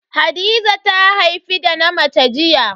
Hadiza ta haifi da na mace jiya.